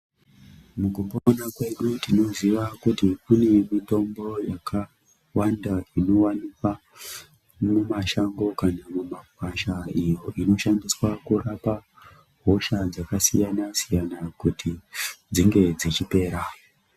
Mukupona kwedu tinoziva kuti kune mitombo yakawanda inowanikwa mumashango kana mumakwasha inoshandiswa kurapa hosha dzakasiyana -siyana kuti dzinge dzechipera.